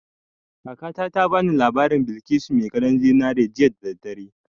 Kakata ta ba ni labarin Balkisu mai gadon zinari jiya da daddare